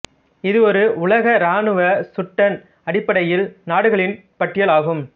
இது ஒரு உலக இராணுவ சுட்டெண் அடிப்படையில் நாடுகளின் பட்டியல் ஆகும்